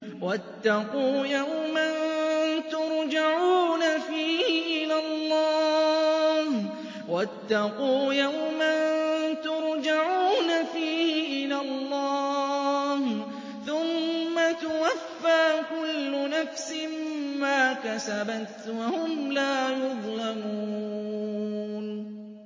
وَاتَّقُوا يَوْمًا تُرْجَعُونَ فِيهِ إِلَى اللَّهِ ۖ ثُمَّ تُوَفَّىٰ كُلُّ نَفْسٍ مَّا كَسَبَتْ وَهُمْ لَا يُظْلَمُونَ